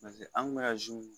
Paseke an kun bɛ ka